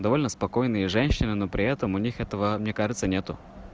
довольно спокойные женщины но при этом у них этого мне кажется нету